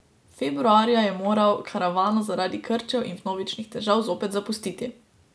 Februarja je moral karavano zaradi krčev in vnovičnih težav zopet zapustiti.